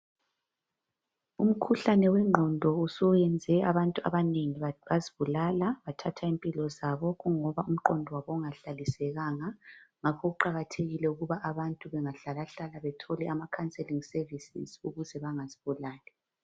Umkhuhlane wengqondo suthathe impilo zabanengi bezibulala ngoba belomqondo ongahlalisekanga nga kuqakathekile ukuthi nxa umuntu elohlupho ephumele egcekeni.